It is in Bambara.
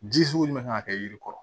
Ji sugu min kan ka kɛ yiri kɔrɔ